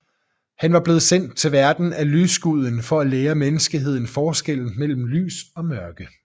Han var blevet sendt til verden af lysguden for at lære menneskeheden forskellen mellem lys og mørke